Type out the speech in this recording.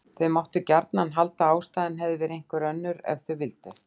Þau máttu gjarnan halda að ástæðan hefði verið einhver önnur ef þau vildu.